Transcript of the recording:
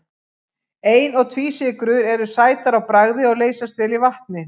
Ein- og tvísykrur eru sætar á bragðið og leysast vel í vatni.